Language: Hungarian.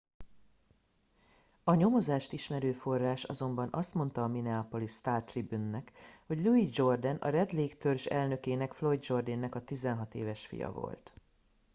a nyomozást ismerő forrás azonban azt mondta a minneapolis star tribune nak hogy louis jourdain a red lake törzs elnökének floyd jourdain nek a 16 éves fia volt